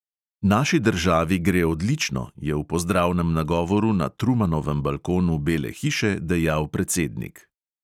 "Naši državi gre odlično," je v pozdravnem nagovoru na trumanovem balkonu bele hiše dejal predsednik.